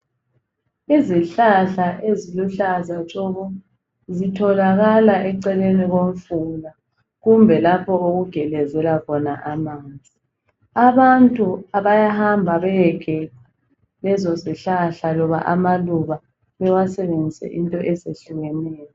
Izihlahla eziluhlaza tshoko, zitholakala eceleni komfula kumbe lapho okugelezela khona amanzi. Abantu bayahamba beyegeca lezo zihlahla loba amaluba bewasenzise into ezehlukeneyo.